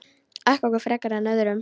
Ekki okkur frekar en öðrum.